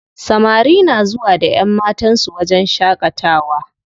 Samari na zuwa da ƴanmatan su wajen shaƙatawa.